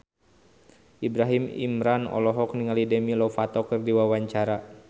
Ibrahim Imran olohok ningali Demi Lovato keur diwawancara